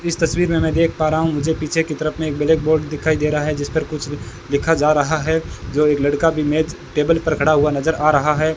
इस तस्वीर में मै देख पा रहा हूं पीछे की तरफ में एक ब्लैक बोर्ड दिखाई दे रहा है जिस पर कुछ लिखा जा रहा है जो एक लड़का भी मेज टेबल पर खड़ा हुआ नजर आ रहा है।